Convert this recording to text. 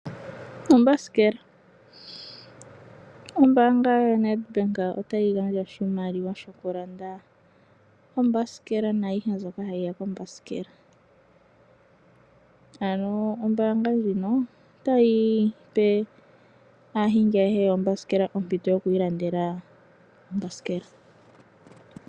Ombasikela, ombaanga yoNedBank otayi gandja oshimaliwa shoku landa ombasikela naayihe mbyoka hayi ya kombasikela. Ano ombaanga ndjino otayi pe aahingi ayehe yombasikela ompito yoku i landela ombasikela.